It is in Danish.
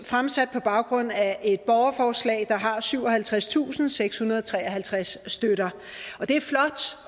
fremsat på baggrund af et borgerforslag der har syvoghalvtredstusinde og sekshundrede og treoghalvtreds støtter